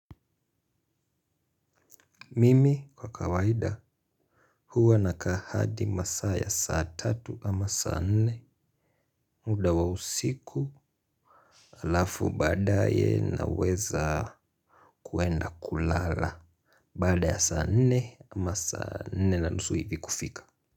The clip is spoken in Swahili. Mimi kwa kawaida huwa na ka ahadi masaa ya saa tatu ama saa nne. Muda wa usiku alafu baadaye naweza kwenda kulala baada ya saa nne ama saa nne na nusu hivi kufika.